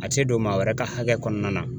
A tɛ don maa wɛrɛ ka hakɛ kɔnɔna na.